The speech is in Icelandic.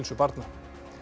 barna